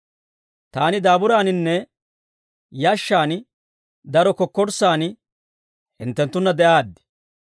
Taani daaburaaninne yashshaan daro kokkorssaan hinttenttunna de'aaddi.